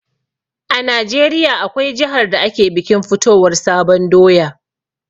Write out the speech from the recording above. A najeriya, akwai jihar da ake bikin fitowar sabon doya